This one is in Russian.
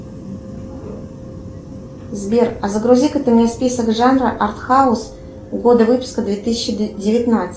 сбер а загрузи ка ты мне список жанра арт хаус года выпуска две тысячи девятнадцать